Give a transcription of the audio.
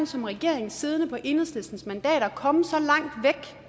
som regering siddende på enhedslistens mandater komme så langt væk